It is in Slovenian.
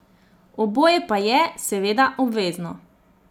Oboje pa je, seveda, obvezno.